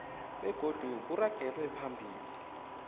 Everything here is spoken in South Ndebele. begodu kuragelwe phambili